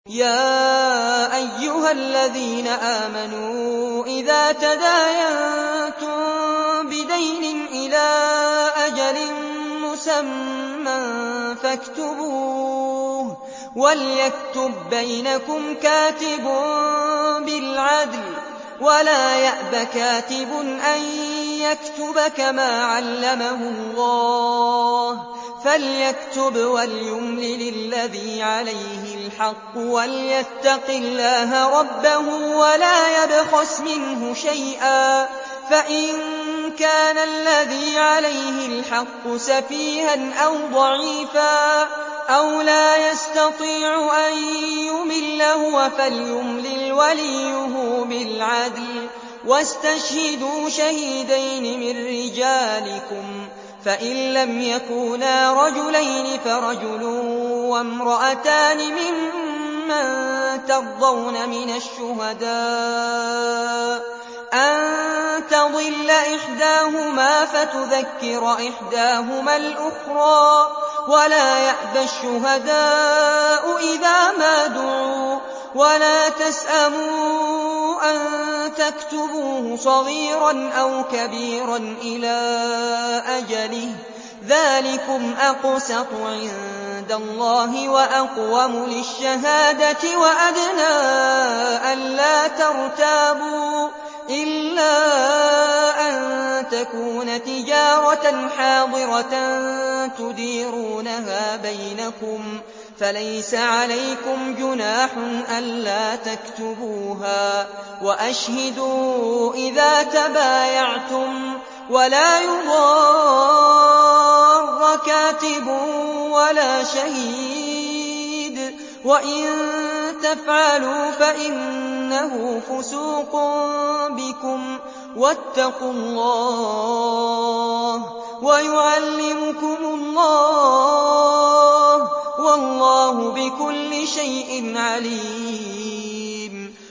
يَا أَيُّهَا الَّذِينَ آمَنُوا إِذَا تَدَايَنتُم بِدَيْنٍ إِلَىٰ أَجَلٍ مُّسَمًّى فَاكْتُبُوهُ ۚ وَلْيَكْتُب بَّيْنَكُمْ كَاتِبٌ بِالْعَدْلِ ۚ وَلَا يَأْبَ كَاتِبٌ أَن يَكْتُبَ كَمَا عَلَّمَهُ اللَّهُ ۚ فَلْيَكْتُبْ وَلْيُمْلِلِ الَّذِي عَلَيْهِ الْحَقُّ وَلْيَتَّقِ اللَّهَ رَبَّهُ وَلَا يَبْخَسْ مِنْهُ شَيْئًا ۚ فَإِن كَانَ الَّذِي عَلَيْهِ الْحَقُّ سَفِيهًا أَوْ ضَعِيفًا أَوْ لَا يَسْتَطِيعُ أَن يُمِلَّ هُوَ فَلْيُمْلِلْ وَلِيُّهُ بِالْعَدْلِ ۚ وَاسْتَشْهِدُوا شَهِيدَيْنِ مِن رِّجَالِكُمْ ۖ فَإِن لَّمْ يَكُونَا رَجُلَيْنِ فَرَجُلٌ وَامْرَأَتَانِ مِمَّن تَرْضَوْنَ مِنَ الشُّهَدَاءِ أَن تَضِلَّ إِحْدَاهُمَا فَتُذَكِّرَ إِحْدَاهُمَا الْأُخْرَىٰ ۚ وَلَا يَأْبَ الشُّهَدَاءُ إِذَا مَا دُعُوا ۚ وَلَا تَسْأَمُوا أَن تَكْتُبُوهُ صَغِيرًا أَوْ كَبِيرًا إِلَىٰ أَجَلِهِ ۚ ذَٰلِكُمْ أَقْسَطُ عِندَ اللَّهِ وَأَقْوَمُ لِلشَّهَادَةِ وَأَدْنَىٰ أَلَّا تَرْتَابُوا ۖ إِلَّا أَن تَكُونَ تِجَارَةً حَاضِرَةً تُدِيرُونَهَا بَيْنَكُمْ فَلَيْسَ عَلَيْكُمْ جُنَاحٌ أَلَّا تَكْتُبُوهَا ۗ وَأَشْهِدُوا إِذَا تَبَايَعْتُمْ ۚ وَلَا يُضَارَّ كَاتِبٌ وَلَا شَهِيدٌ ۚ وَإِن تَفْعَلُوا فَإِنَّهُ فُسُوقٌ بِكُمْ ۗ وَاتَّقُوا اللَّهَ ۖ وَيُعَلِّمُكُمُ اللَّهُ ۗ وَاللَّهُ بِكُلِّ شَيْءٍ عَلِيمٌ